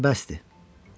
Yaxşı, bəsdir.